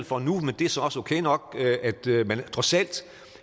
for nu og det er så også okay nok man